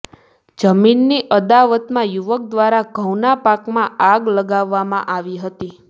જમીનની અદાવતમાં યુવક દ્વારા ઘઉંના પાકમાં આગ લગાવવામાં આવી હતી